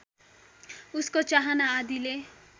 उसको चाहना आदिले